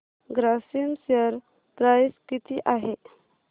Grasim share price किती आहे